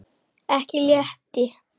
Okkur létti.